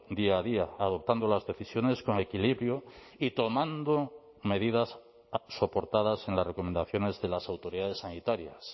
día a día adoptando las decisiones con equilibrio y tomando medidas soportadas en las recomendaciones de las autoridades sanitarias